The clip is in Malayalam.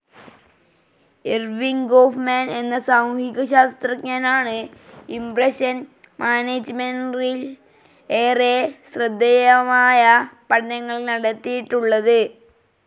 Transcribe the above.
ഇർവിംഗ് ഗോഫ്‌മാൻ എന്ന സാമൂഹികശാസ്ത്രജ്ഞനാണ് ഇംപ്രഷൻ മാനേജ്മെൻറിൽ ഏറെ ശ്രദ്ധേയമായ പഠനങ്ങൾ നടത്തിയിട്ടുള്ളത്.